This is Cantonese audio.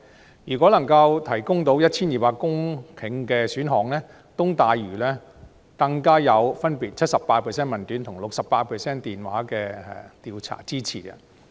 被問及能夠提供 1,200 公頃土地的選項，東大嶼都會更分別得到 78% 的問卷及 68% 的電話調查的支持。